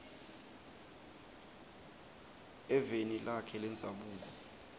eveni lakhe lendzabuko